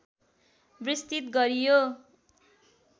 विस्तृत गरियो